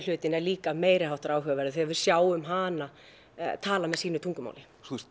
hlutinn er líka meiriháttar áhugaverður því við sjáum hana tala með sínu tungumáli